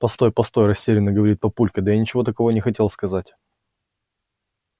постой постой растеряно говорит папулька да я ничего такого не хотел сказать